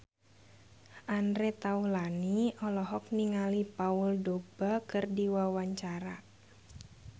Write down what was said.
Andre Taulany olohok ningali Paul Dogba keur diwawancara